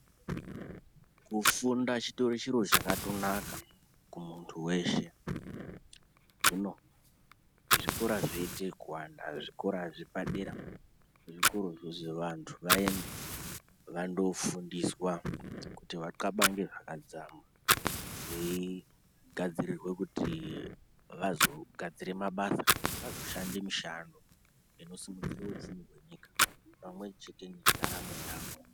Kufunda chitori chiro chakatonaka kumuntu weshe. Hino zvikora zvoite ekuwanda zvikora zvepadera zvokuruzi izvo vantu vaende vandifoundiswa kuti vaxabange zvakadzama veigadzirirwe kuti vazogadzire mabasa, vazoshande mishando inosimudzire upfumi hwenyika pamwechete nendaramo yavo.